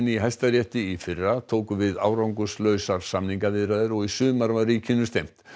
í Hæstarétti í fyrra tóku við árangurslausar samningaviðræður og í sumar var ríkinu stefnt